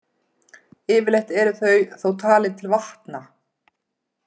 Yfirleitt eru þau þó talin til vatna.